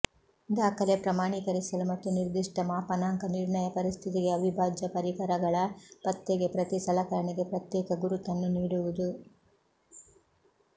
ದಾಖಲೆ ಪ್ರಮಾಣಿಕರಿಸಲು ಮತ್ತು ನಿರ್ದಿಷ್ಟ ಮಾಪನಾಂಕ ನಿರ್ಣಯ ಪರಿಸ್ಥಿತಿಗೆ ಅವಿಭಾಜ್ಯ ಪರಿಕರಗಳ ಪತ್ತೆಗೆ ಪ್ರತಿ ಸಲಕರಣೆಗೆ ಪ್ರತ್ಯೇಕ ಗುರುತನ್ನು ನೀಡುವುದು